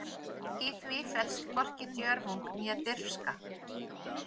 Í því felst hvorki djörfung né dirfska.